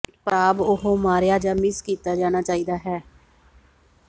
ਪਰ ਖਰਾਬ ਉਹ ਮਾਰਿਆ ਜ ਮਿਸ ਕੀਤਾ ਜਾਣਾ ਚਾਹੀਦਾ ਹੈ